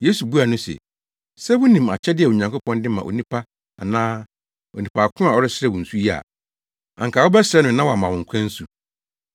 Yesu buaa no se, “Sɛ wunim akyɛde a Onyankopɔn de ma onipa anaa onipa ko a ɔresrɛ wo nsu yi a anka wobɛsrɛ no na wama wo nkwa nsu.”